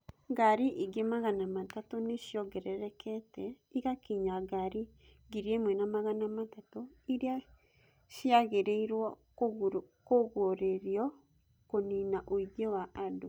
Ngari ingĩ 300 nĩ ciongererekete igakinya ngari 1,300 iria ciagĩrĩirũo kũgũrĩrũo kũniina ũingĩ wa andũ.